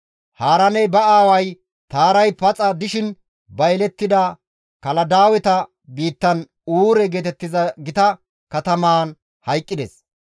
Haaraaney ba aaway Taaray paxa dishin ba yelettida Kaladaaweta biittan Uure geetettiza gita katamaan hayqqides.